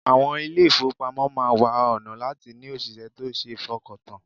Àwọn ilé-ìfowópamọ́ máa wá ọ̀nà láti ní òṣìṣẹ́ tó ṣe fọkàntàn